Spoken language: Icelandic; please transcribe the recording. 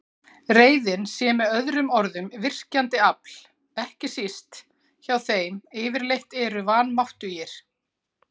Reiðin sé með öðrum orðum virkjandi afl, ekki síst hjá þeim yfirleitt eru vanmáttugir.